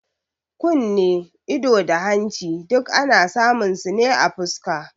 Kunne, ido, da hanci duk ana samun su ne a fuska